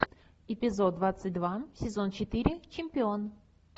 эпизод двадцать два сезон четыре чемпион